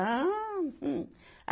Ah, hum